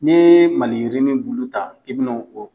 Ni ye maliyirinin bulu ta i bi no o